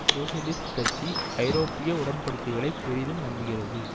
socialist கட்சி ஐரோப்பிய உடன்படிக்கைகளை பெரிதும் நம்புகிறது